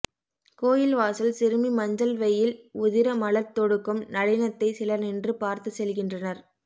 கோயில் வாசல் சிறுமி மஞ்சள் வெயில் உதிர மலர் தொடுக்கும் நளினத்தைச் சிலர் நின்று பார்த்துச் செல்கின்றனர்